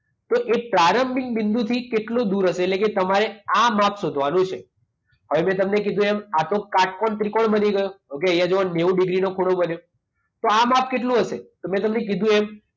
તો એ પ્રારંભક બિંદુથી કેટલો દૂર હશે? એટલે કે તમારે આ માપ શોધવાનું છે. હવે મેં તમને કીધું એ આ તો કાટકોણ ત્રિકોણ બની ગયો. ઓકે? એ જો નેવું ડિગ્રીનો ખૂણો બને. તો આ માપ કેટલું હશે? તો મેં તમને કીધું એમ